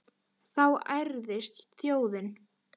Þá ærðist þjóðin.